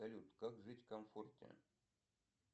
салют как жить в комфорте